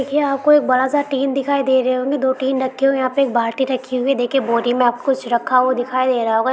देखिये आप को एक बड़ा-सा टीन दिखाई दे रहे होंगे। दो टीन रखे हुए हैं यहाँ पे यहाँ एक बाल्टी रखी हुई है। देखिए बोरी मे आपको कुछ रखा हुआ दिखाई दे रहा होगा ।